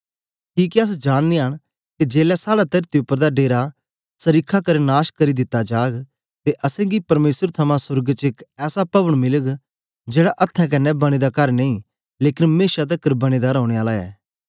किके अस जाननयां न के जेलै साड़ा तरती उपर दा डेरा सरीखा कर नाश कित्ता जाग ते असेंगी परमेसर थमां सोर्ग च एक ऐसा पभन मिलग जेड़ा अथ्थें क्न्ने बने दा कर नेई लेकन मेशा तकर बनें दा रौने आला ऐ